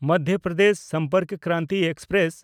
Madhya Pradesh Sampark Kranti express